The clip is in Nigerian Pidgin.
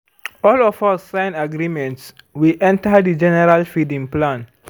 all of us sign agreement before we enter the general feeding plan.